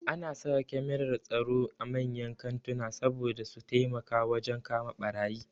Ana saka kyamarar tsaro a manyan kantuna saboda su taimaka wajen kama ɓarayi